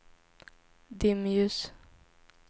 dimljus